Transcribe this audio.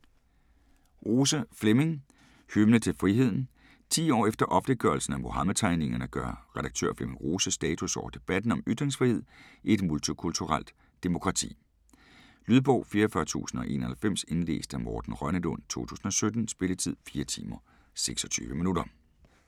Rose, Flemming: Hymne til friheden Ti år efter offentliggørelsen af Muhammedtegningerne gør redaktør Flemming Rose status over debatten om ytringsfrihed i et multikulturelt demokrati. Lydbog 44091 Indlæst af Morten Rønnelund, 2017. Spilletid: 4 timer, 26 minutter.